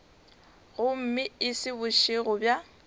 gomme e se bošego bja